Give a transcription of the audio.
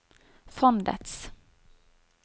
fondets